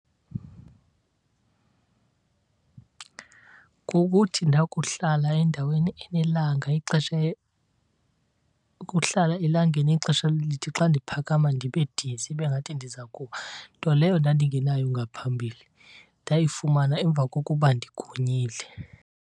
Kukuthi ndakuhlala endaweni enelanga ixesha , ukuhlala elangeni ixesha elide xa ndiphakama ndibe dizzy ibe ngathi ndiza kuwa. Nto leyo ndandingenayo ngaphambili. Ndayifumana emva kokuba ndigonyile.